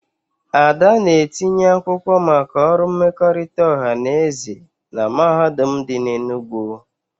Ada na-etinye akwụkwọ maka ọrụ mmekọrịta ọha na eze na mahadum dị n'Enugwu